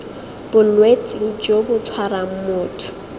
bolwetse jo bo tshwarang motho